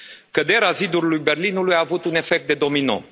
Căderea zidului Berlinului a avut un efect de domino.